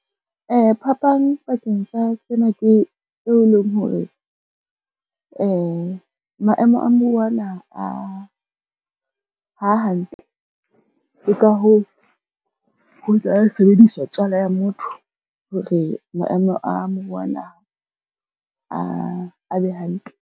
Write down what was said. Phapang pakeng tsa sena ke eo e leng hore maemo a muruo wa naha ha hantle, ke ka hoo ho tla sebediswa tswala ya motho hore maemo a moruo wa naha a be hantle.